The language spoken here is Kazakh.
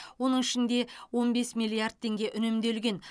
оның ішінде он бес миллиард теңге үнемделген